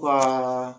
Ka